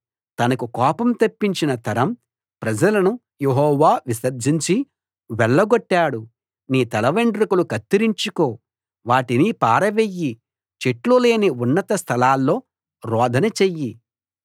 తనకు కోపం తెప్పించిన తరం ప్రజలను యెహోవా విసర్జించి వెళ్లగొట్టాడు నీ తలవెండ్రుకలు కత్తిరించుకో వాటిని పారవెయ్యి చెట్లు లేని ఉన్నత స్థలాల్లో రోదన చెయ్యి